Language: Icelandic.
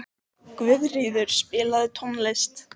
Guðríður, spilaðu tónlist.